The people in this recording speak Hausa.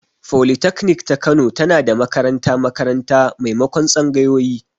Folitaknik ta Kano tana da makaranta-makaranta maimakon tsangayoyi.